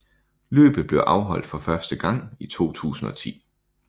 Løbet blev afholdt for første gang i 2010